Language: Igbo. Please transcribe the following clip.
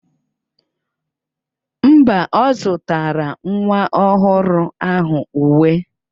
Mba, ọ zụtara nwa ọhụrụ ahụ uwe